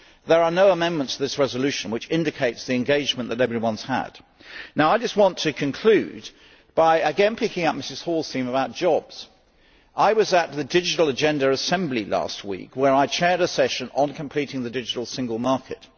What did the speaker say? There are no amendments to this resolution, which indicates the engagement that everyone has had. I would just like to conclude by again picking up Ms Hall's theme about jobs. I was at the Digital Agenda Assembly last week, where I chaired a session on completing the digital single market.